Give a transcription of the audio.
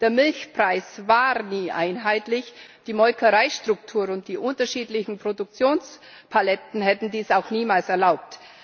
Der Milchpreis war nie einheitlich, die Molkereistruktur und die unterschiedlichen Produktionspaletten hätten dies auch niemals erlaubt.